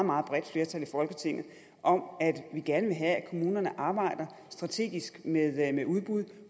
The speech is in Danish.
meget bredt flertal i folketinget om at vi gerne vil have at kommunerne arbejder strategisk med udbud